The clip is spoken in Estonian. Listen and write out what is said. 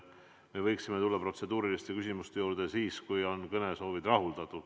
Me võiksime tulla protseduuriliste küsimuste juurde siis, kui on kõnesoovid rahuldatud.